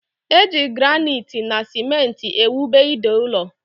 Eji granaiti na simenti ewube ide ụlọ